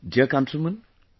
Dear countrymen,